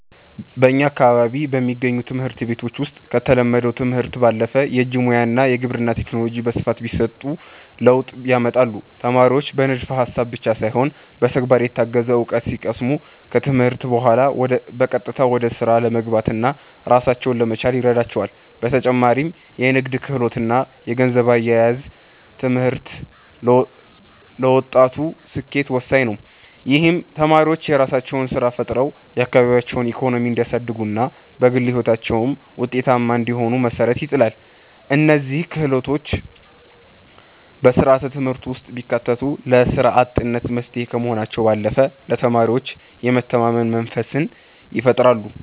በእኛ አካባቢ በሚገኙ ትምህርት ቤቶች ውስጥ ከተለመደው ትምህርት ባለፈ የእጅ ሙያ እና የግብርና ቴክኖሎጂ በስፋት ቢሰጡ ለውጥ ያመጣሉ። ተማሪዎች በንድፈ ሃሳብ ብቻ ሳይሆን በተግባር የታገዘ እውቀት ሲቀስሙ፣ ከትምህርት በኋላ በቀጥታ ወደ ስራ ለመግባትና ራሳቸውን ለመቻል ይረዳቸዋል። በተጨማሪም የንግድ ክህሎት እና የገንዘብ አያያዝ ትምህርት ለወጣቱ ስኬት ወሳኝ ነው። ይህም ተማሪዎች የራሳቸውን ስራ ፈጥረው የአካባቢያቸውን ኢኮኖሚ እንዲያሳድጉና በግል ህይወታቸውም ውጤታማ እንዲሆኑ መሰረት ይጥላል። እነዚህ ክህሎቶች በስርዓተ ትምህርቱ ውስጥ ቢካተቱ ለስራ አጥነት መፍትሄ ከመሆናቸው ባለፈ ለተማሪዎች የመተማመን መንፈስን ይፈጥራሉ።